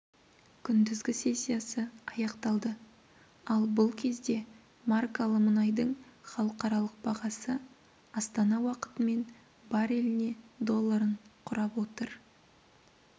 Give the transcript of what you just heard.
күндізгі сессиясы аяқталды ал бұл кезде маркалы мұнайдың халықаралық бағасы астана уақытымен бареліне долларын құрап отыр